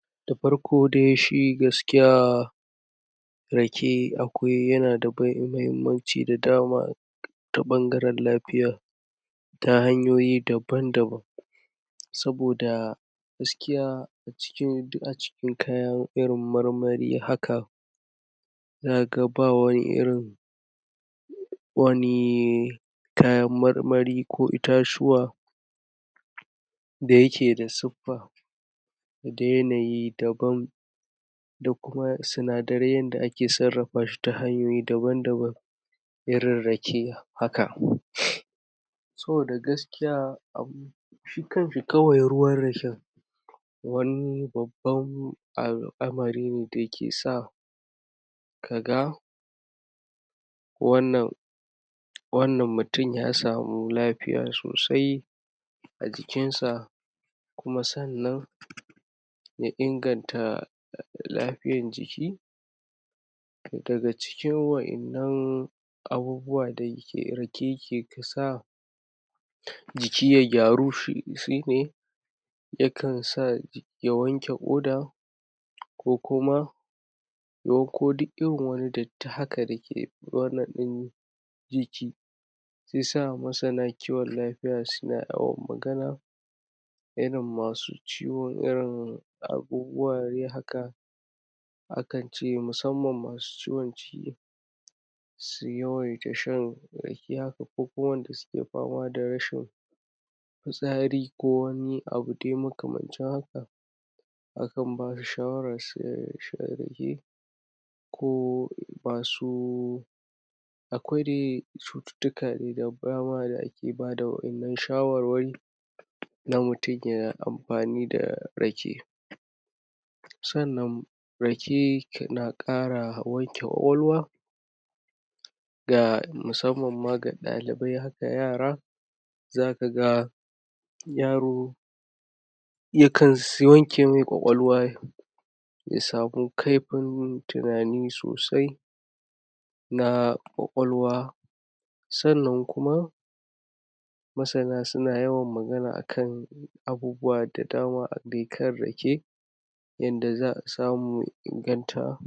Da farko dai shi gaskiya Rake akwai...yana da mahimmanci da dama ta ɓangaran lafiya ta hanyoyi daban daban saboda gaskiya a cikin...duk a cikin kaya irin marmari haka zaka ga ba wani irin wani...kayan marmari ko itatuwa da yake da suppa da yanayi daban da kuma sinadiran yadda ake sarrafa shi ta hanyoyi daban daban irin rake haka saboda gaskiya, shi kanshi ruwan raken wani babban al'amari ne da ke sa ka ga wannan wannan mutum ya samu lafiya sosai a jikin sa, kuma sannan na inganta lafiyar jiki daga cikin waɗannan abubuwa da rake ya ke sa jiki ya gyaru shi ne ya kan sa ya wanke ƙoda, ko kuma Ko duk irin wani datti haka da ke wannan ɗin jiki shi ya sa ma sannan lafiya suna yawan magana irin masu ciwon irin abubuwa dai haka Akan ce, musamman masu ciwon ciki su yawwan yi ta shan rake haka, ko kuma wanda suke fama da rashin fitsari ko wani abu dai makamancin haka akan bashi shawaran sha rake ko basu akwai dai chututtuka da dama da ake ba da waɗannan shawarwari idan mutum yana amfani da rake sannan rake na ƙara wanke ƙwaƙwalwa da musamman ɗalibai haka yara za ka ga yaro ya kan wanke mai ƙwaƙwalwa ya samu kaifin tunani sosai na ƙwaƙwalwa, sannan kuma masana suna yawan magana akan abubuwa da dama a dai kan rake yanda samu inganta.